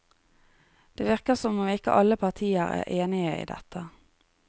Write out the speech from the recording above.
Det virker som om ikke alle partier er enige i dette.